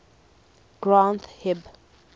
granth hib